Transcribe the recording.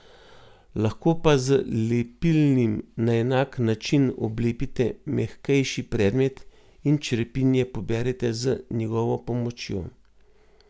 Lahko pa z lepilnim na enak način oblepite mehkejši predmet in črepinje poberete z njegovo pomočjo.